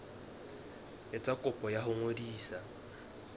etsa kopo ya ho ngodisa